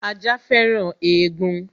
Ajá féràn egun